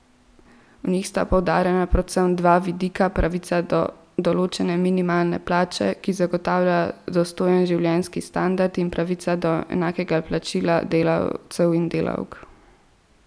V njih sta poudarjena predvsem dva vidika: 'pravica do določene minimalne plače, ki zagotavlja dostojen življenjski standard' in 'pravica do enakega plačila delavcev in delavk'.